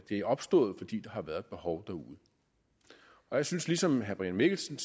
er opstået fordi der har været et behov derude jeg synes ligesom herre brian mikkelsen